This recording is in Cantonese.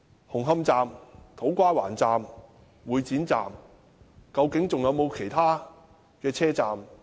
紅磡站、土瓜灣站、會展站都出現問題，究竟還有沒有其他車站亦有問題？